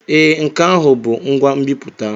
Ee, nke ahụ bụ ngwa nbiputa.